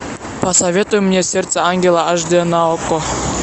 посоветуй мне сердце ангела аш д на окко